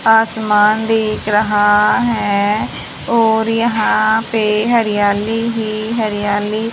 आसमान दिख रहा है और यहां पर हरियाली ही हरियाली--